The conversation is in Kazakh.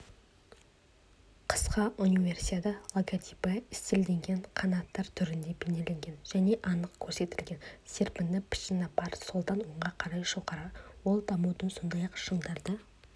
қысқы универсиада логотипі стильденген қанаттар түрінде бейнеленген және анық көрсетілген серпінді пішіні бар солдан оңға қарай жоғары ол дамудың сондай-ақ шыңдарды